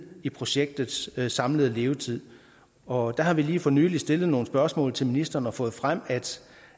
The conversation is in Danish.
i projektets samlede levetid og der har vi lige for nylig stillet nogle spørgsmål til ministeren og fået frem